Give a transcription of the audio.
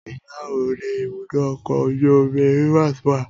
Ilá oòrùn ni ibùdó ọkọ̀ ojú omi Rivers wà